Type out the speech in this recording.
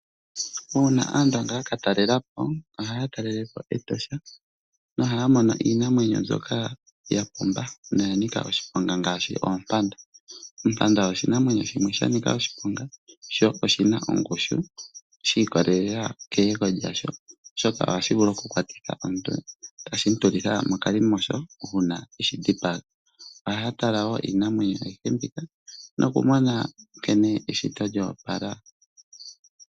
Uuna Aandonga ya ka talela po ohaya talele po Etosha nohaya mono iinamwenyo mbyoka ya pumba noya nika oshiponga ngaashi oompanda. Ompanda oshinamwenyo shimwe sha nika oshiponga sho oshi na ongushu shi ikolelela keyego lyasho, oshoka ohashi vulu okukwatitha omuntu, tashi mu tulitha mokalimosho uuna e shi dhipaga. Ohaya tala wo iinamwenyo ayihe mbika nokumona nkene eshito lyo opala.